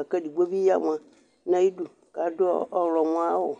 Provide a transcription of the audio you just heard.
Akʋ edigbo bi ɔya "mʋa" nʋ ayʋ ɩdʋ, kʋ adʋ ɔɣlɔmɔ ayʋ awʋ